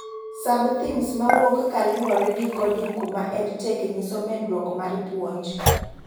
Sub-themes mawuok ka luore gi coding kuma EDTech nyiso medruok mag puonj